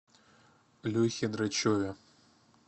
лехе драчеве